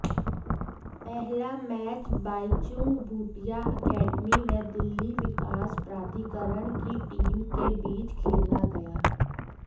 पहला match Baichung Bhutia academy व दिल्ली विकास प्राधिकरण की टीम के बीच खेला गया